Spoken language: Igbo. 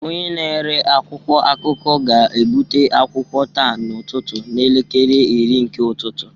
Onye na-ere akwụkwọ akụkọ ga-ebute akwụkwọ taa n'ụtụtụ n'elekere iri nke ụtụtụ